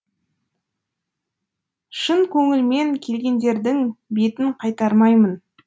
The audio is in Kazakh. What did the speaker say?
шын көңілмен келгендердің бетін қайтармаймын